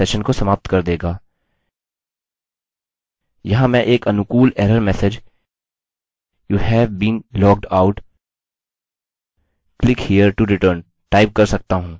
यहाँ मैं एक अनुकूल error message youve been logged out click here to return type कर सकता हूँ